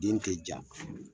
Den te ja